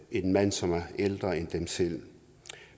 en mand som er ældre end dem selv